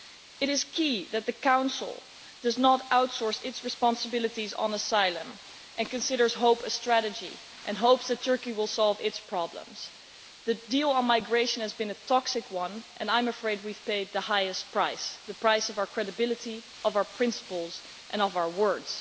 It is key that the Council does not outsource its responsibilities on asylum and consider hope a strategy and hope that Turkey will solve its problems. The deal on migration has been a toxic one, and I am afraid we have paid the highest price the price of our credibility, of our principles and of our words.